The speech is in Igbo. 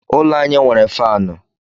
Ụlọ anyị nwere faanụ.